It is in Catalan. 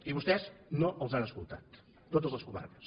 i vostès no els han escoltat totes les comarques